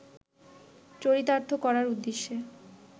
চরিতার্থ করার উদ্দেশ্যে